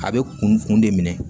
A bɛ kun de minɛ